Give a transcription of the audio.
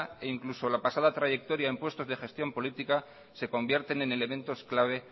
e incluso la pasada trayectoria en puestos de gestión política se convierten en elementos clave